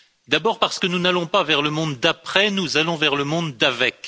D'abord, parce que nous n'allons pas vers le monde d'après, nous allons vers le monde d'avec.